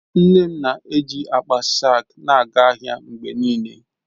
Nne m na-eji akpa saak na-aga ahịa mgbe niile.